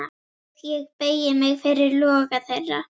Og ég beygi mig fyrir loga þeirra.